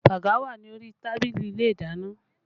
Baga wà ní orí tábìlì ilé ìdáná